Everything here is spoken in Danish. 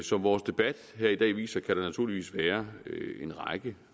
som vores debat her i dag viser kan der naturligvis være en række